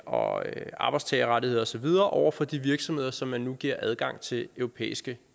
og arbejdstagerrettigheder og så videre over for de virksomheder som man nu giver adgang til europæiske